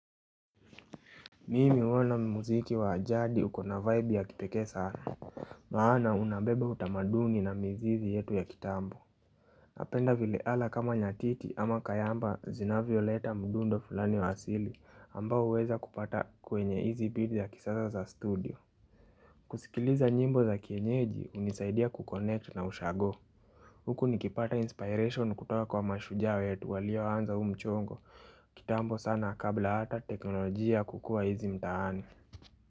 Mimi huona muziki wa jadi uko na vibe ya kipekee sana. Maana unabebe utamaduni na mizizi yetu ya kitambo. Napenda vile ala kama nyatiti ama kayamba zinavyoleta mdundo fulani wa asili ambao huweza kupata kwenye hizi beat za kisasa za studio. Kusikiliza nyimbo za kienyeji hunisaidia kukonect na ushago. Huku nikipata inspiration kutoka kwa mashujaa wetu walioanza huu mchongo kitambo sana kabla hata teknolojia kukua hizi mtaani.